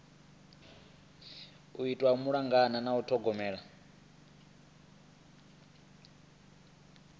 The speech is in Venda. itwa malugana na u ṱhogomela